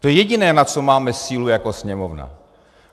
To je jediné, na co máme sílu jako Sněmovna.